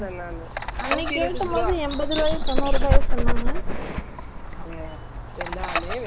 ம்ம்.செகப்பு color இந்த மாதிரி எல்லாம் hyundai போட்டு இருக்குதுல்ல company car கள்ள வைக்குற துணியாற்றுக்கு.